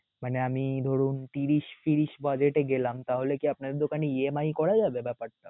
মানে আমি ধরুন ত্রিশ ত্রিশ budget এ গেলাম, তাহলে আপনাদের দোকানে EMI করা যাবে ব্যাপারটা?